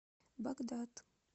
багдад